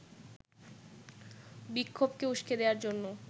বিক্ষোভকে উস্কে দেবার জন্য